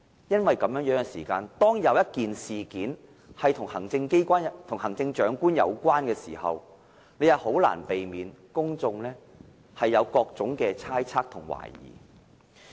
因此，萬一事件是與行政長官有關時，將難以避免令公眾產生各種猜測及懷疑。